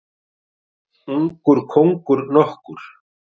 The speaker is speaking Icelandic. Ungur kóngur nokkur.